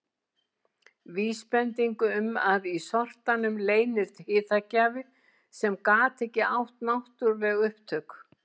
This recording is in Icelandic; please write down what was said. Vísbending um að í sortanum leyndist hitagjafi sem gat ekki átt náttúruleg upptök.